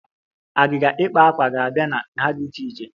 Agịga ikpa akwa ga-abịa na nha dị iche iche